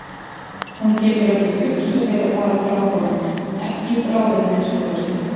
Hún getur ekki hugsað sér að fara frá honum, ekki í bráð að minnsta kosti.